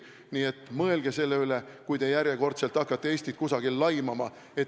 Nii et mõelge selle üle, kui järjekordselt hakkate Eestit kusagil laimama.